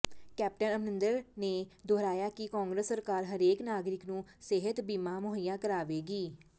captain Amarinder ਨੇ ਦੁਹਰਾਇਆ ਕਿ ਕਾਂਗਰਸ ਸਰਕਾਰ ਹਰੇਕ ਨਾਗਰਿਕ ਨੂੰ ਸਿਹਤ ਬੀਮਾ ਮੁਹੱਈਆ ਕਰਵਾਏਗੀ